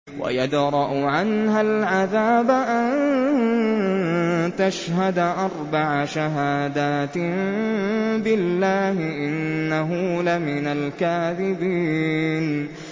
وَيَدْرَأُ عَنْهَا الْعَذَابَ أَن تَشْهَدَ أَرْبَعَ شَهَادَاتٍ بِاللَّهِ ۙ إِنَّهُ لَمِنَ الْكَاذِبِينَ